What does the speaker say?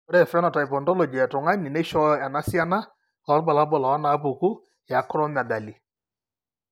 Ore ephenotype ontology etung'ani neishooyo enasiana oorbulabul onaapuku eAcromegaly.